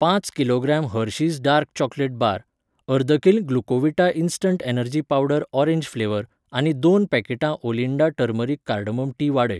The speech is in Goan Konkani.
पांच kilogram Hershey's dark chocolate bar, अर्द kilo Glucovita instant energy powder orange flavour आनी दोन पॅकेटां ओलिंडा टर्मरीक कार्डमम टी वाडय.